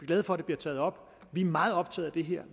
glade for det bliver taget op vi er meget optaget af det her